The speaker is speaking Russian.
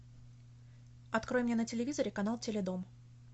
открой мне на телевизоре канал теледом